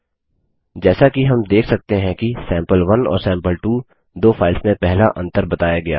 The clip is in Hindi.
जैसा कि हम देख सकते हैं कि सैंपल1 और सैंपल2 दो फाइल्स में पहला अंतर बताया गया है